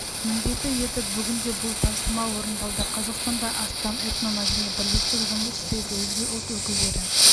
міндеті еді бүгінде бұл тапсырма орындалды қазақстанда астам этномәдени бірлестік жұмыс істейді өзге ұлт өкілдері